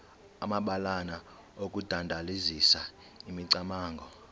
amabalana okudandalazisa imicamango